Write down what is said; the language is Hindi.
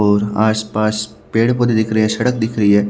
और आस पास पेड़ पोधे दिख रहे है सड़क दिख रही है।